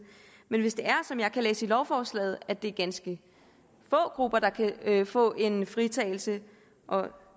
men hvis det er som jeg kan læse i lovforslaget at det er ganske få grupper der kan få en fritagelse og